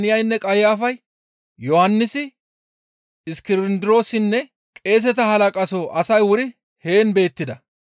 Istta qeeseta halaqa Haannaynne Qayafay, Yohannisi, Iskindiroosinne qeeseta halaqaso asay wuri heen beettida.